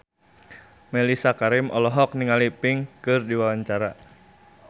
Mellisa Karim olohok ningali Pink keur diwawancara